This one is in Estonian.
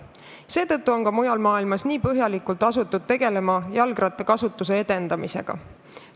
Seetõttu on ka mujal maailmas asutud põhjalikult tegelema jalgrattakasutuse edendamisega.